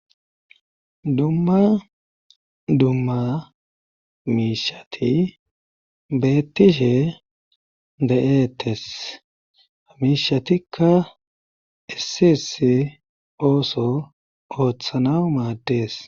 Dumma dumma miishshati beettishshe de'ettees hamiishatikka issi issi ooththo ooththanas maaddees